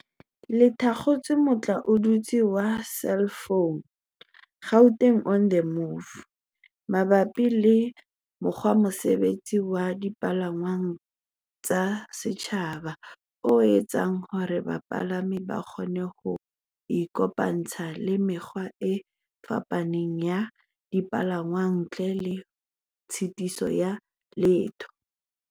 le thakgotse motlaotutswe wa selefounu, Gauteng on the Move, mabapi le mokgwatshebetso wa dipalangwang tsa setjhaba o etsang hore bapalami ba kgone ho ikopantsha le mekgwa e fapaneng ya dipalangwang ntle le tshitiso ya letho.